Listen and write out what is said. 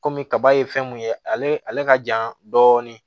Kɔmi kaba ye fɛn mun ye ale ale ka ja dɔɔnin